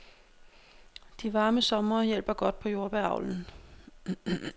De varme somre hjælper godt på jordbæravlen.